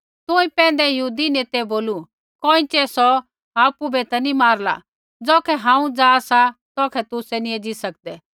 तुंई पैंधै यहूदी नेतै बोलू कोइँछ़ै सौ आपु बै ता नैंई मारला ज़ौखै हांऊँ जा सा तौखै तुसै नी एज़ी सकदै